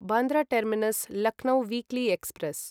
Bandra terminus Lucknow weekly express